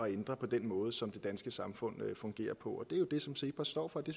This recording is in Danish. ændre på den måde som det danske samfund fungerer på det jo det som cepos står for det